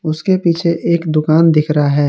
उसके पीछे एक दुकान दिख रहा है।